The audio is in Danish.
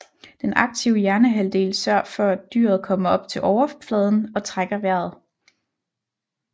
Den aktive hjernehalvdel sørger for at dyret kommer op til overfladen og trækker vejret